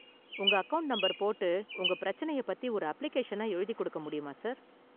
உங்க account number போட்டு உங்க பிரச்சனய பத்தி ஒரு அப்ளிகேஷனா எழுதி கொடுக்க முடியுமா சார்?